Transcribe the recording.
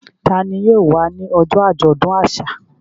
Ta ni yóò wá ní ọjọ́ àjọ̀dún àṣà?